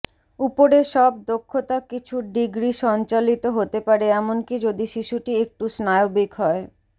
উপরে সব দক্ষতা কিছু ডিগ্রী সঞ্চালিত হতে পারে এমনকি যদি শিশুটি একটু স্নায়বিক হয়